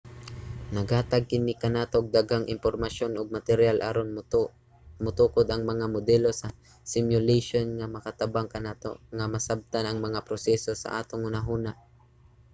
naghatag kini kanato og daghang impormasyon ug materyal aron matukod ang mga modelo sa simulation nga makatabang kanato nga masabtan ang mga proseso sa atong hunahuna